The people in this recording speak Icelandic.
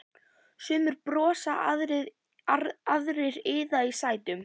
Sumir brosa, aðrir iða í sætunum.